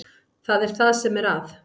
Það er það sem er að.